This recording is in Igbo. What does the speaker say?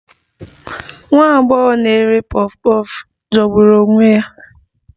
Nwa agbọghọ na-ere puff puff jọgburu onwe ya